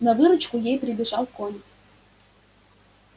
на выручку ей прибежал конюх